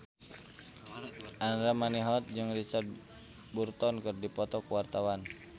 Andra Manihot jeung Richard Burton keur dipoto ku wartawan